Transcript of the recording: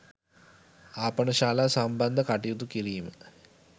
ආපනශාලා සම්බන්ධ කටයුතු කිරීම